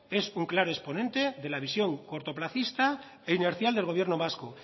es un claro exponente de la visión cortoplacista e inercial del gobierno vasco